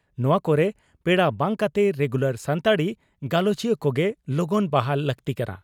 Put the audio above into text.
ᱱᱚᱣᱟ ᱠᱚᱨᱮ ᱯᱮᱲᱟ ᱵᱟᱝ ᱠᱟᱛᱮ ᱨᱮᱜᱩᱞᱟᱨ ᱥᱟᱱᱛᱟᱲᱤ ᱜᱟᱞᱚᱪᱤᱭᱟᱹ ᱠᱚᱜᱮ ᱞᱚᱜᱚᱱ ᱵᱟᱦᱟᱞ ᱞᱟᱹᱜᱛᱤᱜ ᱠᱟᱱᱟ ᱾